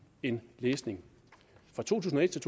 en læsning fra to tusind og et til